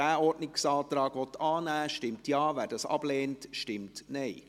Wer diesen Ordnungsantrag annehmen will, stimmt Ja, wer dies ablehnt, stimmt Nein.